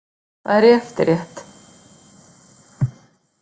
Hvað er í eftirrétt?